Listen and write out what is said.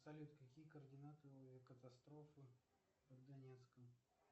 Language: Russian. салют какие координаты катастрофы под донецком